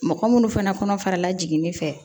Mɔgɔ munnu fana kɔnɔfara la jiginni fɛ